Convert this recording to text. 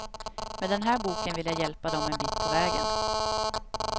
Med den här boken vill jag hjälpa dem en bit på vägen.